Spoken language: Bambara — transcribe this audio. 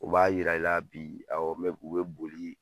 U b'a yira i la bi, ɔwɔ u bɛ boli.